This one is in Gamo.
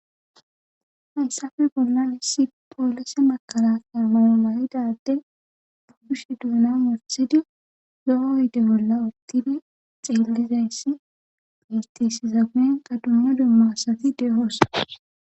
haysafe bollan issi poolise makalakay mayo mayidade ba kushe duuna wothidi lo7o oyde bolla utidi xeelliza dummo dumma asati dehoosa